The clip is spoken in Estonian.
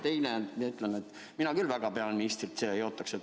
Teiseks ütlen, et mina küll väga peaministrit siia ei oota.